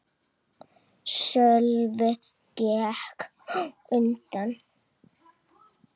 Sölvi gekk á undan.